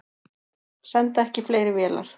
Senda ekki fleiri vélar